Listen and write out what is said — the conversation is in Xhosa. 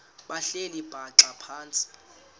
behleli bhaxa phantsi